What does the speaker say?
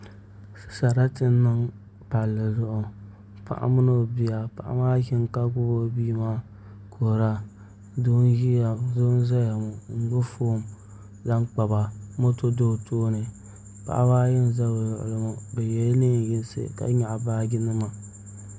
Sarati n niŋ palli zuɣu paɣa mini o bia paɣa maa ʒimi ka gbubi o bia maa n kuhura doo n ʒɛya ŋo n gbubi foon zaŋ kpaba moto do o tooni paɣaba ayi n ʒɛ o luɣuli ni ŋo bi yɛla neen yinsi ka nyaɣa baaji nima